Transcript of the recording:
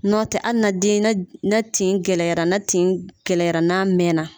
Nɔtɛ hali n'an den ni tin gɛlɛyara , ten kɛlɛyara n'a mɛn na.